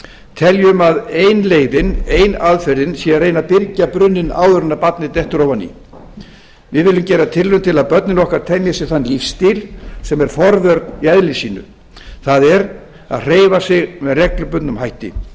teljum að ein leiðin ein aðferðin sé að reyna að byrgja brunninn áður en barnið dettur ofan í við viljum gera tilraun til að börnin okkar temji sér þann lífsstíl sem er forvörn í eðli sínu það er að hreyfa sig með reglubundnum hætti